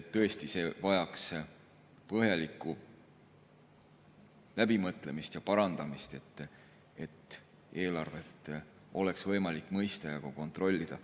Tõesti, see vajaks põhjalikku läbimõtlemist ja parandamist, et eelarvet oleks võimalik mõista ja ka kontrollida.